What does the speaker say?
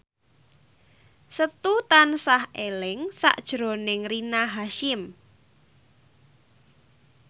Setu tansah eling sakjroning Rina Hasyim